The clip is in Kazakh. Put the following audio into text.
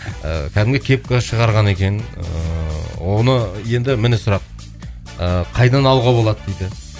ыыы кәдімгі кепка шығарған екен ыыы оны енді міне сұрақ ыыы қайдан алуға болады дейді